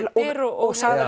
dyr og sagðar